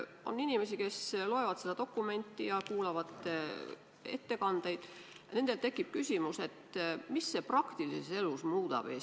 On inimesi, kes loevad seda dokumenti ja kuulavad ettekandeid ja neil tekib ehk küsimus, mida see praktilises elus Eestis muudab.